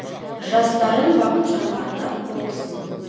жас дарын бақытжан ардақ отыз мың